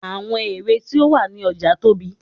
àwọn ère tí ó wà ní ọja tóbi